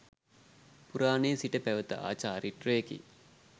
පුරාණයේ සිට පැවැත ආ චාරිත්‍රයකි.